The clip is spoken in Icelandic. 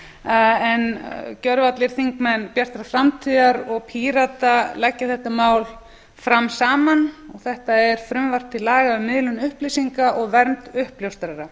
en gjörvallir þingmenn bjartrar framtíðar og pírata leggja þetta mál fram saman þetta er frumvarp til laga um miðlun upplýsinga og vernd uppljóstrara